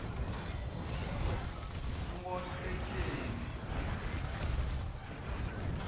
nkhotfwetjeni